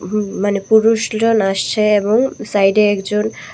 উম মানে পুরুষগুলান আসছে এবং সাইডে একজন--